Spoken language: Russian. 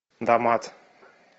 дамат